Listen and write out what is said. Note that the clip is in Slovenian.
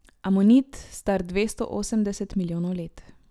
Amonit, star dvesto osemdeset milijonov let.